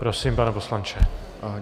Prosím, pane poslanče.